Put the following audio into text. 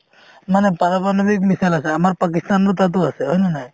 মানে পাৰমাণৱিক missile আছে আমাৰ পাকিস্তানৰ তাতো আছে হয়নে নাই